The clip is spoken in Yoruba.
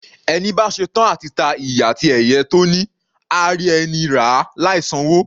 Ẹni bá ṣetán à ti ta iyì àti ẹ̀yẹ tó ní, á rí ẹni ràá láì san'wó.